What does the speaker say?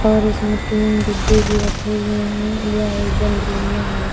और इसमे तीन डिब्बे भी रखे हुए हैं यह एक बंद रूम में है।